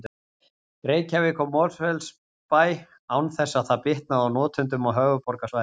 Reykjavík og Mosfellsbæ án þess að það bitnaði á notendum á höfuðborgarsvæðinu.